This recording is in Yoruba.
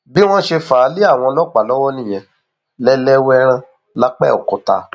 bí wọn ṣe fà á lé àwọn ọlọpàá lọwọ nìyẹn lẹlẹwẹẹran lápẹọkúta